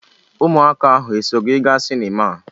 Ụmụaka ahụ eso gị gaa sinima.